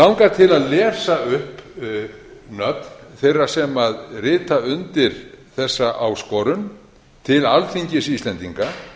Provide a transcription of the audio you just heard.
til að lesa upp nöfn þeirra sem rita undir þessa áskorun til alþingis íslendinga